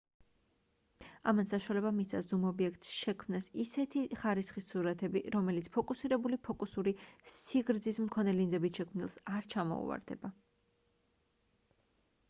ამან საშუალება მისცა ზუმ ობიექტს შექმნას ისეთი ხარისხის სურათები რომელიც ფიქსირებული ფოკუსური სიგრძის მქონე ლინზებით შექმნილს არ ჩამოუვარდება